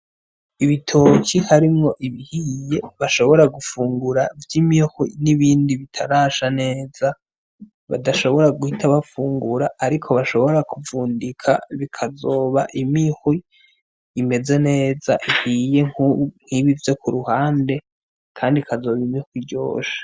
Ibitoke harimwo ibihiye bashobora gufungura vy'imihwi n'ibindi bitarasha neza badashobora guhita bafungura ariko bashobora kuvundika bikazoba imihwi imeze neza, ihiye nkibi vyo ku ruhande kandi ikazoba imihwi iryoshe.